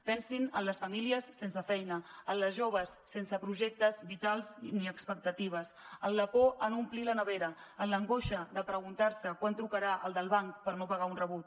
pensin en les famílies sense feina en les joves sense projectes vitals ni expectatives en la por a no omplir la nevera en l’angoixa de preguntar se quan trucarà el del banc per no pagar un rebut